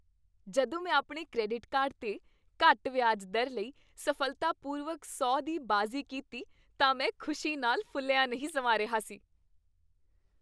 ਜਦੋਂ ਮੈਂ ਆਪਣੇ ਕ੍ਰੈਡਿਟ ਕਾਰਡ 'ਤੇ ਘੱਟ ਵਿਆਜ ਦਰ ਲਈ ਸਫ਼ਲਤਾਪੂਰਵਕ ਸੌ ਦੀ ਬਾਜ਼ੀ ਕੀਤੀ ਤਾਂ ਮੈਂ ਖ਼ੁਸ਼ੀ ਨਾਲ ਫੁਲਿਆ ਨਹੀਂ ਸਮਾ ਰਿਹਾ ਸੀ।